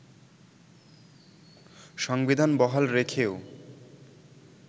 সংবিধান বহাল রেখেও